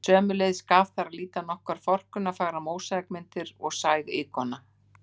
Sömuleiðis gaf þar að líta nokkrar forkunnarfagrar mósaíkmyndir og sæg íkona.